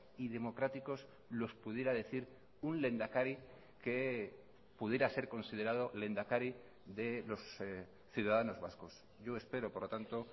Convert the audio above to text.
y democráticos los pudiera decir un lehendakari que pudiera ser considerado lehendakari de los ciudadanos vascos yo espero por lo tanto